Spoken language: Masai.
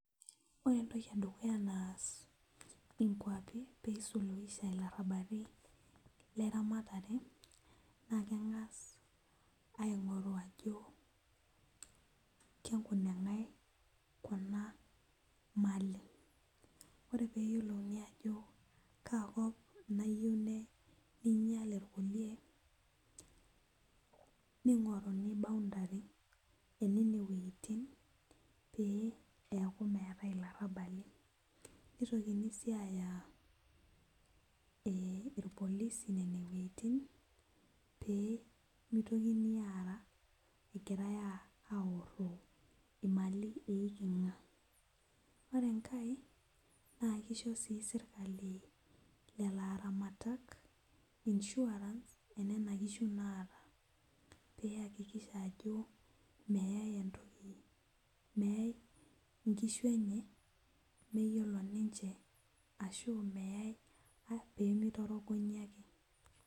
Ore entoki edukuya naas inkuapi peisuluisha ilarrabali leramatare naa keng'as aing'oru ajo kenkuneng'ae kuna mali ore peyiolouni ajo kaakop nayieu nei neinyial irkulie ning'oruni boundary enene wuejitin pee eeku meetae ilarrabali nitokini sii aaya eh irpolisi nene wuejitin pee mitokini aara egirae uh aorro imali eiking'a ore enkae naa kisho sii sirkali lelo aramatak insurance enena kishu naata peyakikisha ajo meyae entoki meyae inkishu enye meyiolo ninche ashu meyae pee meitorogonyi ake.